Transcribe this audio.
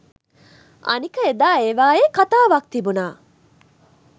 අනික එදා ඒවායේ කතාවක් තිබුණා